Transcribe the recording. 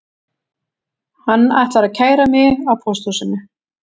Hann ætlar að kæra mig á pósthúsinu